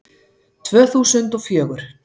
Tvö þúsund og fjögur